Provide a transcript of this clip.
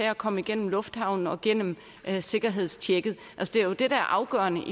at komme igennem lufthavnen og gennem sikkerhedstjekket det er jo det der er afgørende